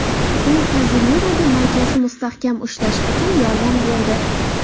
U Kasemiroga markazni mustahkam ushlash uchun yordam berdi.